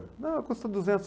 Não, custa duzentos